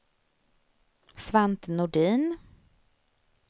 Svante Nordin